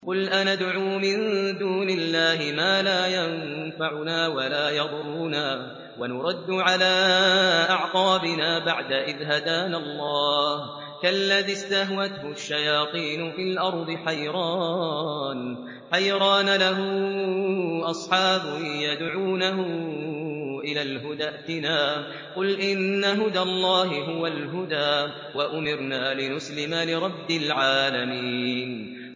قُلْ أَنَدْعُو مِن دُونِ اللَّهِ مَا لَا يَنفَعُنَا وَلَا يَضُرُّنَا وَنُرَدُّ عَلَىٰ أَعْقَابِنَا بَعْدَ إِذْ هَدَانَا اللَّهُ كَالَّذِي اسْتَهْوَتْهُ الشَّيَاطِينُ فِي الْأَرْضِ حَيْرَانَ لَهُ أَصْحَابٌ يَدْعُونَهُ إِلَى الْهُدَى ائْتِنَا ۗ قُلْ إِنَّ هُدَى اللَّهِ هُوَ الْهُدَىٰ ۖ وَأُمِرْنَا لِنُسْلِمَ لِرَبِّ الْعَالَمِينَ